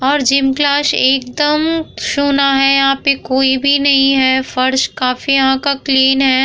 और gym class एकदम सुना है यहाँ पे कोई भी नहीं है फर्श काफी यहाँ का क्लीन है।